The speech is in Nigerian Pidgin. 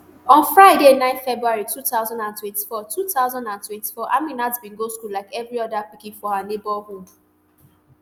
on friday nine february two thousand and twenty-four two thousand and twenty-four aminat bin go school like evri oda pikin for her neighbourhood